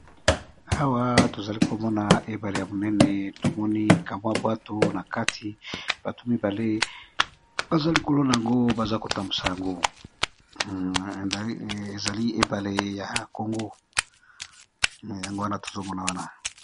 awa tozali komona ebale ya monene tomoni kamwa bwato na kati bato mibale baza likolona yango baza kotambusa yango ezali ebale ya kongo yango wana tozomona wana